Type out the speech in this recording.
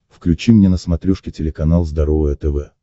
включи мне на смотрешке телеканал здоровое тв